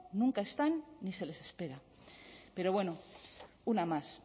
nunca están ni se les espera pero bueno una más